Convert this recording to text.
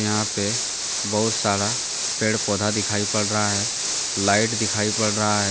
यहां पे बहुत सारा पेड़ पौधा दिखाई पड़ रहा है लाइट दिखाई पड़ रहा है।